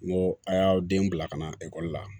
N go a y'aw den bila ka na ekɔli la